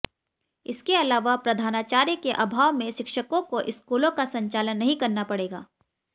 इसके अलावा प्रधानाचार्य के अभाव में शिक्षकों को स्कूलों का संचालन नहीं करना पडे़गा